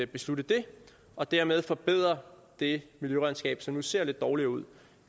beslutte det og dermed forbedre det miljøregnskab som nu ser lidt dårligere ud